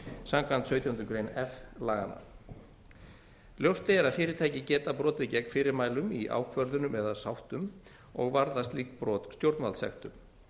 samkvæmt sautjándu grein f laganna ljóst er að fyrirtæki geta brotið gegn fyrirmælum í ákvörðunum eða sáttum og varða slík brot stjórnvaldssektum